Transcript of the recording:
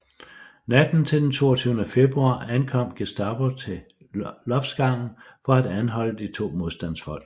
Natten til den 22 februar ankom Gestapo til loftsgangen for at anholde de to modstandsfolk